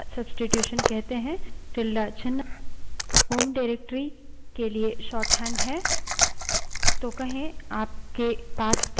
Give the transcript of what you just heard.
अगला विषय जो हम देखेंगे उसे tilde substitution कहते हैं tilde ~ चिन्ह home directory के लिए शोर्टहैंड है